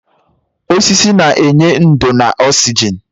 Osisi na-enye ndò na oxygen.